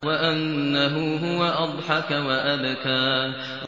وَأَنَّهُ هُوَ أَضْحَكَ وَأَبْكَىٰ